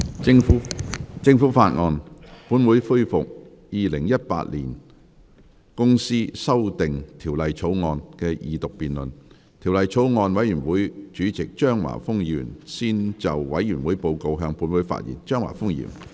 主席，我謹以《2018年公司條例草案》委員會主席的身份，向本會提交法案委員會的報告，並匯報法案委員會工作的重點。